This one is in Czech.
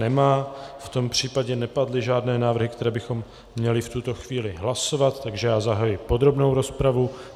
Nemá, v tom případě nepadly žádné návrhy, které bychom měli v tuto chvíli hlasovat, takže já zahajuji podrobnou rozpravu.